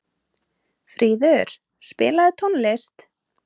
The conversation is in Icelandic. Fríður, spilaðu tónlist.